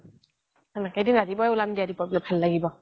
ৰাতিপুৱাই উলাম দিয়া ভাল লাগিব